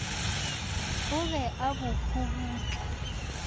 o be a bo kgobutla